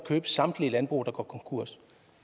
købe samtlige landbrug der går konkurs